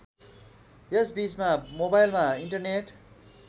यसबीचमा मोबाइलमा इन्टरनेट